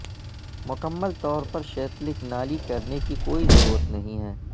مکمل طور پر شیتلک نالی کرنے کی کوئی ضرورت نہیں ہے